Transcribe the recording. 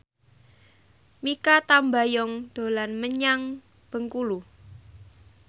Mikha Tambayong dolan menyang Bengkulu